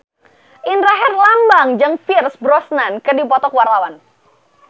Indra Herlambang jeung Pierce Brosnan keur dipoto ku wartawan